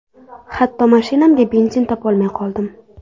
Hatto mashinamga benzin topolmay qoldim.